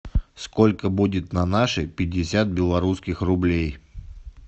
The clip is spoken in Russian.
сколько будет на наши пятьдесят белорусских рублей